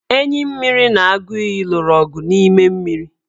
Enyimmiri na aguiyi lụrụ ọgụ n' ime mmiri.